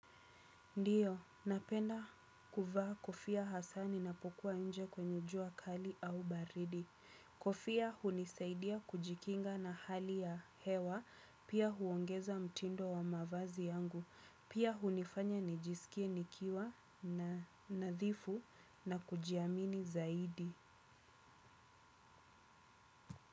Ndio, napenda kuvaa kofia hasa ninapokuwa nje kwenye jua kali au baridi. Kofia hunisaidia kujikinga na hali ya hewa, pia huongeza mtindo wa mavazi yangu. Pia hunifanya nijisikie nikiwa na nadhifu na kujiamini zaidi.